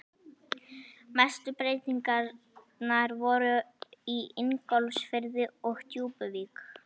Mestu breytingarnar voru í Ingólfsfirði og Djúpuvík.